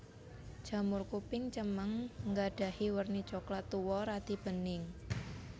Jamur kuping cemeng nggadhahi werni coklat tuwa radi bening